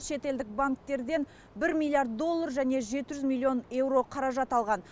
шетелдік банктерден бір миллиард доллар және жеті жүз миллион еуро қаражат алған